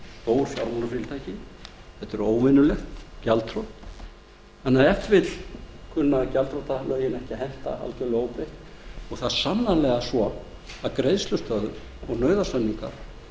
fjármálafyrirtæki þetta er óvenjulegt gjaldþrot þannig að ef til vill kunna gjaldþrotalögin ekki að henta algjörlega óbreytt og það er sannarlega svo að greiðslustöðvun og nauðasamningar